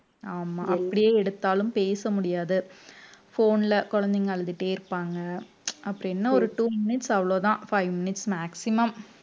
ஆமா அப்படியே எடுத்தாலும் பேச முடியாது phone ல குழந்தைங்க அழுதுட்டே இருப்பாங்க அப்படி என்ன ஒரு two minutes அவ்ளோதான் five minutes maximum